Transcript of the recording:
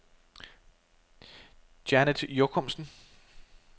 Janet Jokumsen